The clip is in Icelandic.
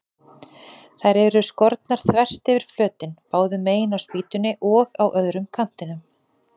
Þær eru skornar þvert yfir flötinn, báðu megin á spýtunni og á öðrum kantinum.